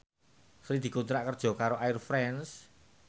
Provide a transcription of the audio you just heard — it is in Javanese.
Sri dikontrak kerja karo Air France